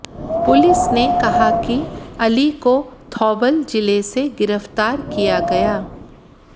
police ने कहा कि अली को थौबल जिले से गिरफ्तार किया गया